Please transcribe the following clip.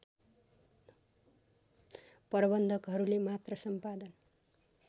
प्रबन्धकहरूले मात्र सम्पादन